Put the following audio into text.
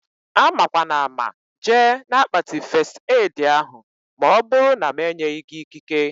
Amakwanama jee na-akpati fest edi ahụ maọbụru na m enyeghị gị ikike